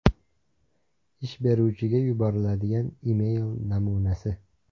Ish beruvchiga yuboriladigan email namunasi.